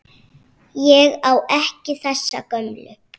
Ég á ekki þessa gömlu.